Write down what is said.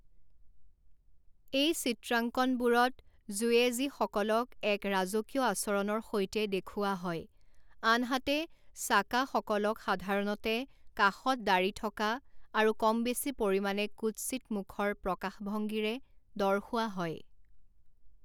এই চিত্ৰাংকনবোৰত যুয়েজীসকলক এক ৰাজকীয় আচৰণৰ সৈতে দেখুওৱা হয় আনহাতে সাকাসকলক সাধাৰণতে কাষত-ডাঢ়ি থকা আৰু কম বেছি পৰিমাণে কুৎসিত মুখৰ প্ৰকাশভংগিৰে দৰ্শোৱা হয়।